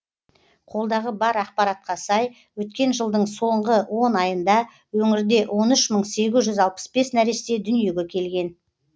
қолдағы бар ақпаратқа сай өткен жылдың соңғы он айында өңірде он үш мың сегіз жүз алпыс бес нәресте дүниеге келген